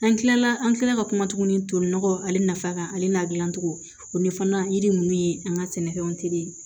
An kilala an kilala ka kuma tuguni tolinɔgɔw ale nafa kan ale n'a gilan cogo o ɲɛfɔ yiri ninnu ye an ka sɛnɛfɛnw teri